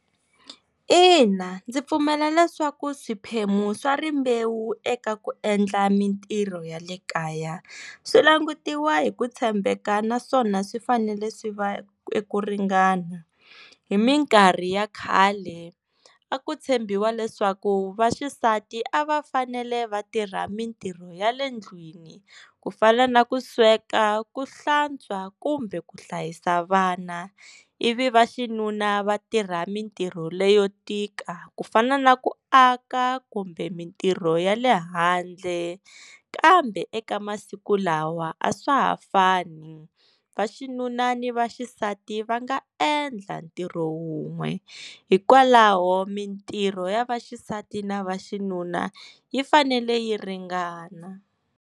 Ina, ndzi pfumela leswaku swiphemu swa rimbewu eka ku endla mintirho ya le kaya swi langutiwa hi ku tshembeka naswona swi fanele swi va ku ringana hi mikarhi ya khale a ku tshembiwa leswaku vaxisati a va fanele vatirha mintirho ya le ndlwini ku fana na ku sweka, ku hlantswa kumbe ku hlayisa vana i vi va xinuna vatirha mintirho leyo tika ku fana na ku aka kumbe mintirho ya le handle kambe eka masiku lawa a swa ha fani va xinuna ni vaxisati va nga endla ntirho wun'we hikwalaho mintirho ya vaxisati na va xinuna yi fanele yi ringana.